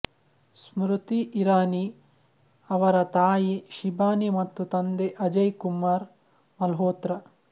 ಸ್ಮೃತಿ ಇರಾನಿ ಅವರ ತಾಯಿ ಶಿಬಾನಿ ಮತ್ತು ತಂದೆ ಅಜಯ್ ಕುಮಾರ್ ಮಲ್ಹೋತ್ರಾ